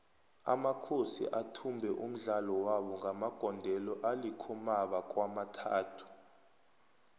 amakhosi athumbe umdlalo wabo ngamagondelo alikhomaba kwamathathu